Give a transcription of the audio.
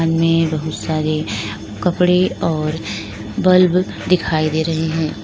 इनमें बहुत सारे कपड़े और बल्ब दिखाई दें रहे है।